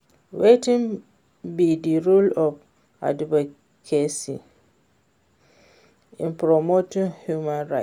Wetin be di role of advocacy in promoting human rights?